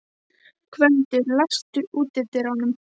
Gvöndur, læstu útidyrunum.